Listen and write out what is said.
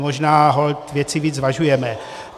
Možná holt věci víc zvažujeme.